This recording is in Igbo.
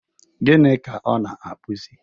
Gịnị ka ọ na-akpụzi?